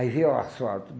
Aí veio o asfalto.